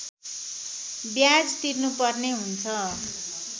ब्याज तिर्नुपर्ने हुन्छ